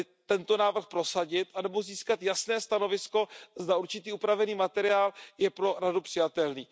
tento návrh prosadit nebo získat jasné stanovisko, zda určitý upravený materiál je pro Radu přijatelný.